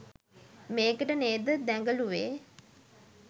මේකට නේද දැගලුවේ